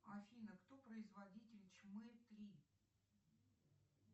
афина кто производитель чмэ три